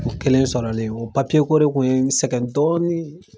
O kelen sɔrɔlen o papiyeko de tun ye sɛgɛn dɔɔnin.